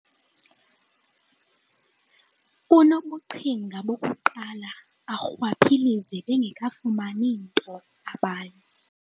Unobuqhinga bokuqala arhwaphilize bengekafumani nto abanye.